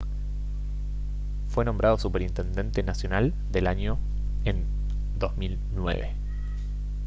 fue nombrado superintendente nacional del año en 2009